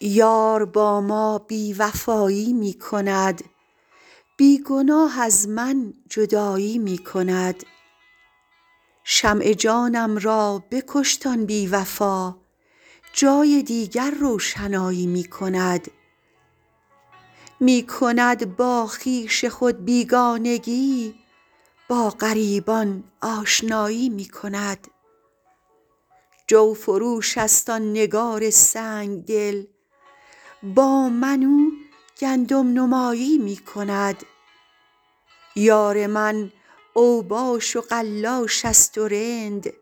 یار با ما بی وفایی می کند بی گناه از من جدایی می کند شمع جانم را بکشت آن بی وفا جای دیگر روشنایی می کند می کند با خویش خود بیگانگی با غریبان آشنایی می کند جوفروش است آن نگار سنگ دل با من او گندم نمایی می کند یار من اوباش و قلاش است و رند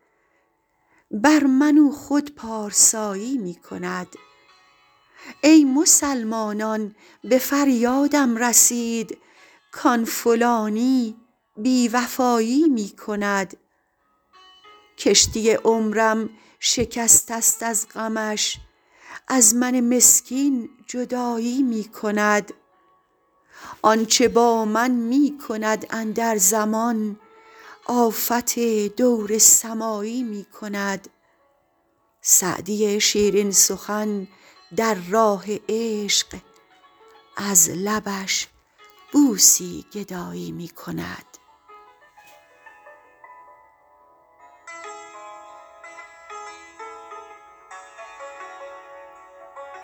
بر من او خود پارسایی می کند ای مسلمانان به فریادم رسید کآن فلانی بی وفایی می کند کشتی عمرم شکسته است از غمش از من مسکین جدایی می کند آن چه با من می کند اندر زمان آفت دور سمایی می کند سعدی شیرین سخن در راه عشق از لبش بوسی گدایی می کند